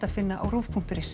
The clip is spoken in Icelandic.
finna á rúv punktur is